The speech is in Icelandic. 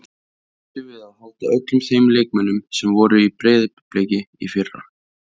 Býstu við að halda öllum þeim leikmönnum sem voru í Breiðablik í fyrra?